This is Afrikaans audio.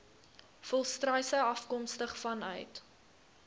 volstruise afkomstig vanuit